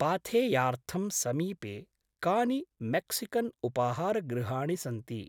पाथेयार्थं समीपे कानि मेक़्सिकन्उपाहारगृहाणि सन्ति?